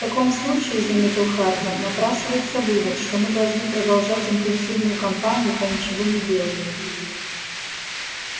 в таком случае заметил хардин напрашивается вывод что мы должны продолжать интенсивную кампанию по ничегонеделанию